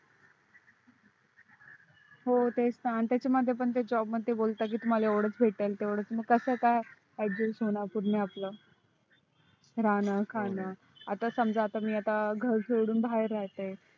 हो तेच ना आणि त्यांच्या मध्ये पण ते job मध्ये बोलतात तुम्हाला एवडच भेटेल तेवडच भेटेल मग कस काय adjust होणार पूर्ण आपल राहण खाण आता समजा मी आता घर सोडून बाहेर राहते